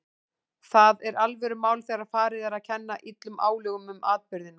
Það er alvörumál þegar farið er að kenna illum álögum um atburðina.